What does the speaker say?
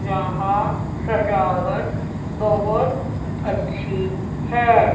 यहां सजावट बहोत अच्छी है।